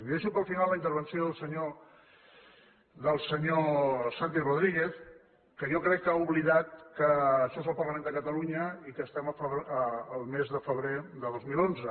deixo per al final la intervenció del senyor santi rodríguez que jo crec que ha oblidat que això és el parlament de catalunya i que estem al mes de febrer de dos mil onze